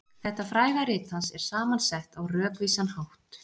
Þetta fræga rit hans er saman sett á rökvísan hátt.